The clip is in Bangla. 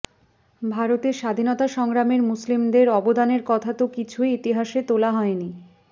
ভারতের স্বাধীনতা সংগ্রামের মুসলিমদের অবদানের কথা তো কিছুই ইতিহাসে তোলা হয়নি